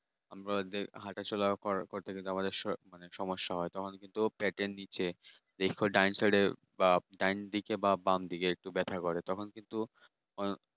আমাদের হাঁটাচলা করার পর থেকে যে সর সব সমস্যা হয় তা পেটের নিচে দেখবার ডান side বা ডান দিকে বা বাম দিকে একটু ব্যাথা হয় ব্যাথা করে কিন্তু এখন কিন্তু